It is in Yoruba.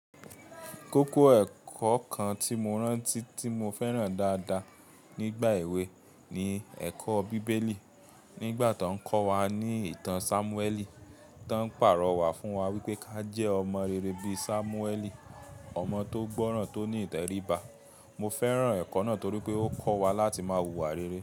Kókó ẹ̀kọ́ kan tí mo rántí tí mo fẹ́ràn dáadáa nígbà èwe ni ẹ̀kọ́ bíbélì. Nígbà tó ń kọ́ wa ní ìtàn Sámúẹ́lì, tó ń pàrọ̀ wá fún wa wípé ká jẹ́ ọmọ rere bí i Sámúẹ́lì, ọmọ tó gbọ́ràn tó ní ìtẹríba. Mo fẹ́ràn ẹ̀kọ́ náà torí pé ó kọ́ wa láti máa hùwà rere.